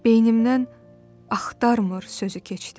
Beynimdən "axtarmır" sözü keçdi.